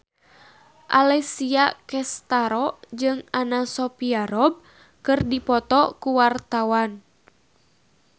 Alessia Cestaro jeung Anna Sophia Robb keur dipoto ku wartawan